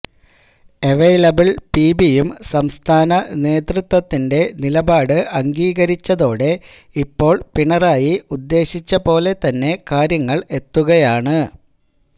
available പിബിയും സംസ്ഥാന നേതൃത്വത്തിന്റെ നിലപാട് അംഗീകരിച്ചതോടെ ഇപ്പോള് പിണറായി ഉദ്ദേശിച്ച പോലെതന്നെ കാര്യങ്ങള് എത്തുകയാണ്